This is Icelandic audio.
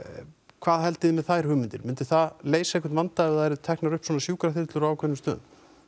hvað haldiði með þær hugmyndir myndi það leysa einhvern vanda ef það yrðu teknar upp sjúkraþyrlur á ákveðnum stöðum